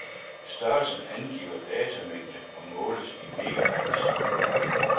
Størrelsen angiver datamængde og måles i megabytes.